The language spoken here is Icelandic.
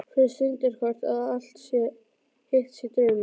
Finnst stundarkorn að allt hitt sé draumur.